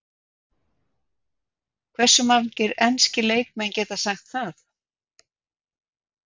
Hversu margir enski leikmenn geta sagt það?